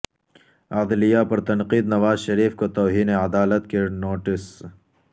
عدلیہ پر تنقید نواز شریف کو توہین عدالت کے نوٹسز